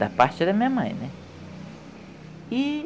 Da parte da minha mãe, né? E